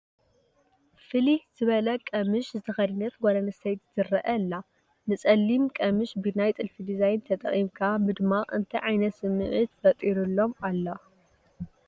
ፍልይ ዝበለ ቀሚሽ ዝተኸደነት ጓል ኣነስተይቲ ትርአ ኣላ፡፡ ንፀሊም ቀሚሽ ብናይ ጥልፊ ዲዛይን ተጠቒምካ ምድማቕ እንታይ ዓይነት ስምዒት ፈጢሩልኩም ኣሎ?